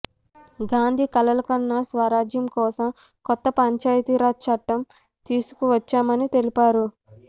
గాంధీ కలలుకన్న స్వరాజ్యం కోసం కొత్త పంచాయతీరాజ్ చట్టం తీసుకొచ్చామని తెలిపారు